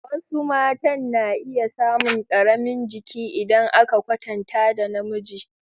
Wasu matan na iya samun ƙaramin jiki idan aka kwatanta da namiji.